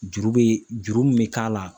Juru bɛ juru min bɛ k'a la